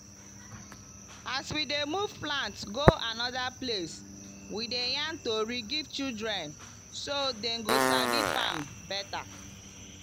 as we dey move plant go another place we dey yarn tori give children so dem go sabi farm better.